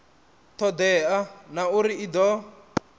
todea na uri i do